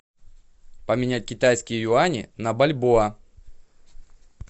поменять китайские юани на бальбоа